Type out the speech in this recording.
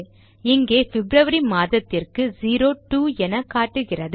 இங்கே பிப்ரவரி மாதத்திற்கு 02 என காட்டுகிறது